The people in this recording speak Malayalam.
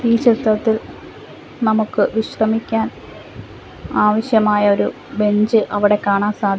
ഈ ചിത്രത്തിൽ നമുക്ക് വിശ്രമിക്കാൻ ആവശ്യമായൊരു ബെഞ്ച് അവിടെ കാണാൻ സാധി --